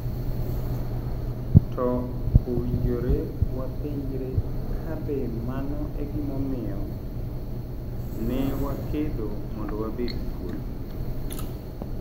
To owinjore wapenjre ka be mano e gimomiyo ne wakedo mondo wabed thuolo?